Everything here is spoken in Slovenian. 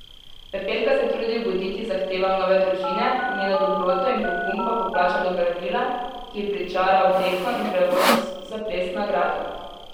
Pepelka se trudi ugoditi zahtevam nove družine, njeno dobroto in pogum pa poplača dobra vila, ki ji pričara obleko in prevoz za ples na gradu.